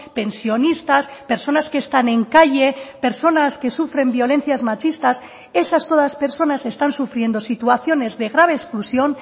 pensionistas personas que están en calle personas que sufren violencias machistas esas todas personas están sufriendo situaciones de grave exclusión